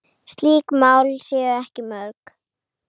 Slík mál séu ekki mörg.